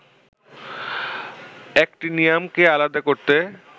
অ্যাক্টিনিয়ামকে আলাদা করতে